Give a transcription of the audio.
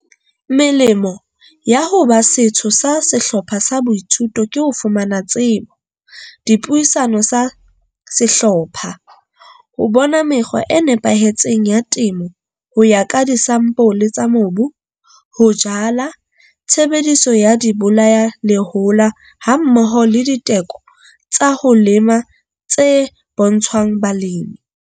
Melemo ya ho ba setho sa sehlopha sa boithuto ke ho fumana tsebo, dipuisano sa sehlopha, ho bona mekgwa e nepahetseng ya temo ho ya ka disampole tsa mobu, ho jala, tshebediso ya dibolayalehola hammoho le diteko tsa ho lema tse bontshwang balemi.